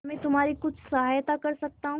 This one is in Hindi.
क्या मैं तुम्हारी कुछ सहायता कर सकता हूं